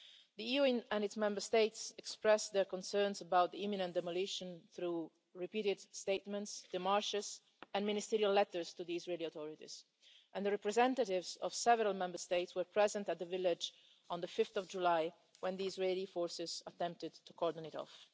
The EU and its Member States expressed their concerns about the imminent demolition through repeated statements, démarches and ministerial letters to the Israeli authorities, and the representatives of several Member States were present at the village on 5 July when the Israeli forces attempted to cordon it off.